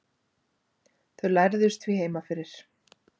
Þau lærðust því heima fyrir.